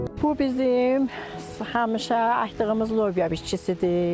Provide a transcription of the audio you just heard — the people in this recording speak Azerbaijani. Bu bizim həmişə əkdığımız lobya bitkisidir.